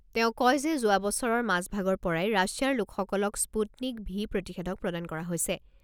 তেওঁ কয় যে, যোৱা বছৰৰ মাজ ভাগৰ পৰাই ৰাছিয়াৰ লোকসকলক স্পুটনিক ভি প্ৰতিষেধক প্ৰদান কৰা হৈছে।